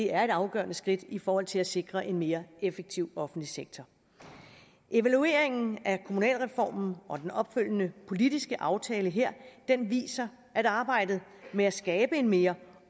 er et afgørende skridt i forhold til at sikre en mere effektiv offentlig sektor evalueringen af kommunalreformen og den opfølgende politiske aftale her viser at arbejdet med at skabe en mere